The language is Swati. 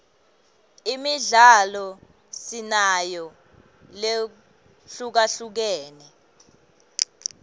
imidlalo sinayo lehlukahlukene